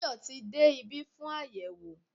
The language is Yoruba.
Tayọ tí de ibi fún ayẹwo